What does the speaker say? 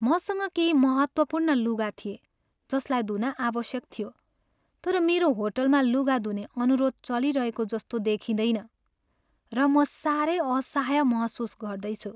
मसँग केही महत्त्वपूर्ण लुगा थिए जसलाई धुन आवश्यक थियो, तर मेरो होटलमा लुगा धुने अनुरोध चलिरहेको जस्तो देखिँदैन, र म सारै असहाय महसुस गर्दैछु।